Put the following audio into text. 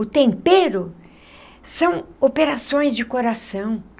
O tempero são operações de coração.